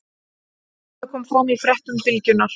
Þetta kom fram í fréttum Bylgjunnar